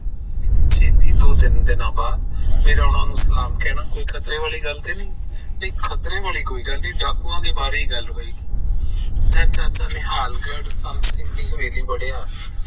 ਛੇਤੀ ਦੋ ਤਿੰਨ ਦਿਨਾਂ ਬਾਅਦ ਮੇਰਾ ਉਹਨਾਂ ਨੂੰ ਸਲਾਮ ਕਹਿਣਾ ਕੋਈ ਖਤਰੇ ਵਾਲੀ ਗੱਲ ਤੇ ਨਹੀਂ। ਨਹੀਂ, ਖਤਰੇ ਵਾਲੀ ਤਾਂ ਕੋਈ ਗੱਲ ਨਹੀਂ ਡਾਕੂਆਂ ਦੇ ਬਾਰੇ ਹੀ ਗੱਲ ਹੋਏਗੀ ਨਿਹਾਲਗੜ ਸੰਤ ਸਿੰਘ ਦੀ ਹਵੇਲੀ ਬੜੀਆਂ